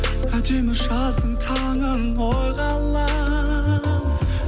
әдемі жаздың таңын ойға алам